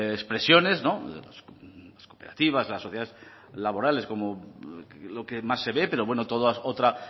expresiones las cooperativas las sociedades laborales lo que más se ve pero bueno toda otra